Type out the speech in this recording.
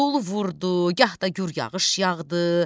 dolu vurdu, gah da gür yağış yağdı.